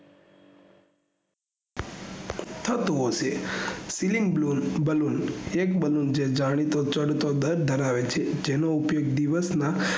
થતું હશે flying balloonballoon એક balloon જે જાણીતો ચમતો દર ઘરાવે છે જેનો ઉપયોગ દિવસ માં